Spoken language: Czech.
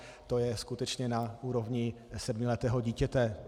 To je skutečně na úrovni sedmiletého dítěte.